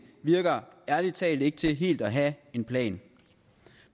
virker ærlig talt ikke til helt at have en plan